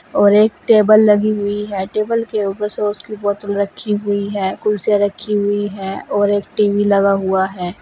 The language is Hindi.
और एक टेबल लगी हुई है टेबल के ऊपर सॉस की बॉटल रखी हुई है कुर्सियां रखी हुई है और एक टी_वी लगा हुआ है।